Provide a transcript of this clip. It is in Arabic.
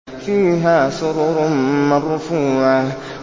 فِيهَا سُرُرٌ مَّرْفُوعَةٌ